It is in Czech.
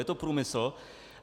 Je to průmysl.